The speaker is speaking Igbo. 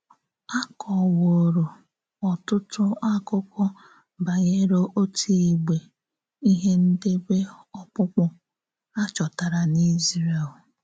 A kọworo ọtụtụ akụkọ banyere otu igbe, ihe ndebe ọkpụkpụ, a chọtara n’Ízrél.